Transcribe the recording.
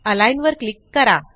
align वर click करा